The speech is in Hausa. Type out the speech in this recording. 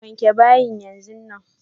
Wake bayin yanzu nan!